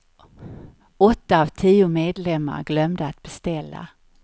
Åtta av tio medlemmar glömde att beställa.